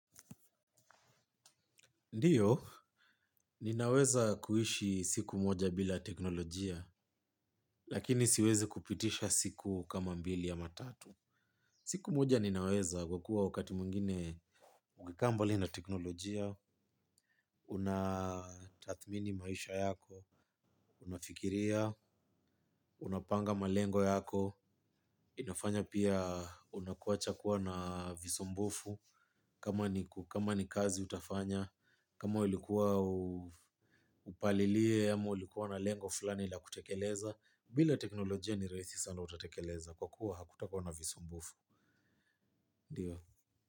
Ndiyo, ninaweza kuishi siku moja bila teknolojia, lakini siwezi kupitisha siku kama mbili ama tatu. Siku moja ninaweza kwa kuwa wakati mwingine, ukikaa mbali na teknolojia, unatathmini maisha yako, unafikiria, unapanga malengo yako, inafanya pia unakuacha kuwa na visumbufu, kama ni kazi utafanya, kama ulikuwa upalilie ama ulikuwa na lengo fulani la kutekeleza. Bila teknolojia ni rahisi sana utatekeleza kwa kuwa hakuta kuwa na visumbufu. Ndiyo.